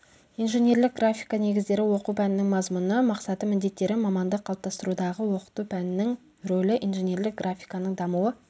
инженерлік графика негіздері оқу пәнінің мазмұны мақсаты міндеттері маманды қалыптастырудағы оқыту пәнінің рөлі инженерлік графиканың дамуы